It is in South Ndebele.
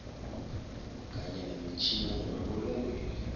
kanye nemitjhini yemabulungelweni